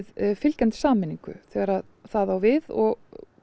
fylgjandi sameiningu þegar það á við og